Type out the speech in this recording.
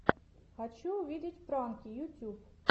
хочу увидеть пранки ютюб